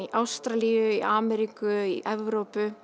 í Ástralíu í Ameríku í Evrópu